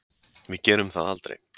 Við gerum það aldrei